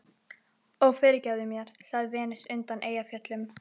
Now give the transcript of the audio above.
Ó, fyrirgefðu mér, sagði Venus undan Eyjafjöllum.